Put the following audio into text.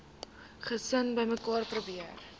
gesin bymekaar probeer